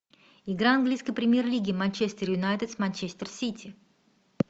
игра английской премьер лиги манчестер юнайтед с манчестер сити